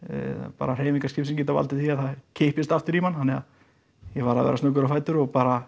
bara hreyfingar skipsins geta valdið því að það kippist aftur í mann þannig að ég varð að vera snöggur á fætur og bara